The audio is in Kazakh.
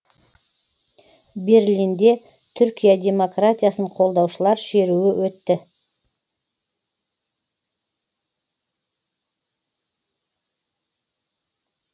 берлинде түркия демократиясын қолдаушылар шеруі өтті